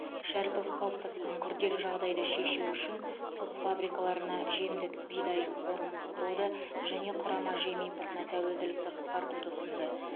шәріпов қалыптасқан күрделі жағдайды шешу үшін құс фабрикаларына жемдік бидай қорын құруды және құрама жем импортына тәуелділікті қысқартуды ұсынды